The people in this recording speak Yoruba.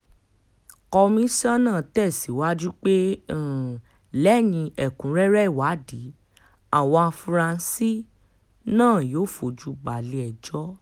komisanna tẹ̀síwájú pé um lẹ́yìn ẹ̀kúnrẹ́rẹ́ ìwádìí àwọn afurasí um náà yóò fojú balẹ̀-ẹjọ́